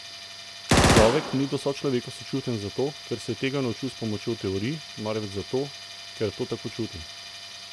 Človek ni do sočloveka sočuten zato, ker se je tega naučil s pomočjo teorij, marveč zato, ker to tako čuti.